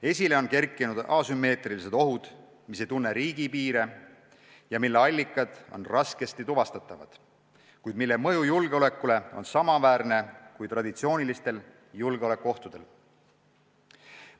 Esile on kerkinud asümmeetrilised ohud, mis ei tunne riigipiire ja mille allikad on raskesti tuvastatavad, kuid mille mõju julgeolekule on samaväärne kui traditsioonilistel julgeolekuohtudel.